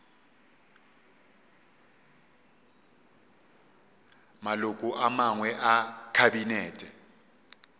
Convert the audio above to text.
maloko a mangwe a kabinete